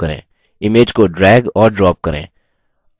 image को drag और drop करें